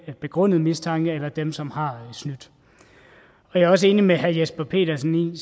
begrundet mistanke eller dem som har snydt jeg er også enig med herre jesper petersen